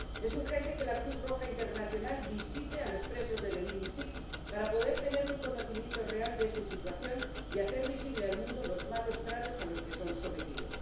Es urgente que la Cruz Roja Internacional visite a los presos de Gdeim Izik para poder tener un conocimiento real de su situación y hacer visible al mundo los malos tratos a los que son sometidos.